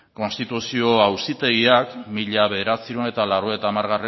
konstituzio auzitegiak mila bederatziehun eta laurogeita hamargarrena